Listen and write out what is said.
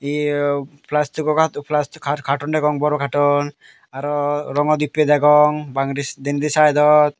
eyao plastigo katun degong bor katun arow rongo dibbe degong bangendi denendi saidot.